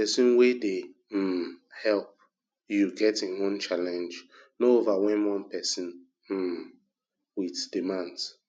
person wey dey um help you get in own challenge no overwhelm one person um with demands